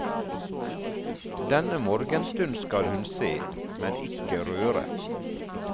Denne morgenstund skal hun se, men ikke røre.